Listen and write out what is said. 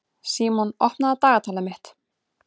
Símon, opnaðu dagatalið mitt.